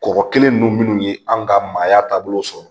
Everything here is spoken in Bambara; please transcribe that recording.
Kɔkɔ kelen ninnu minnu ye an ka maaya taabolo sɔrɔ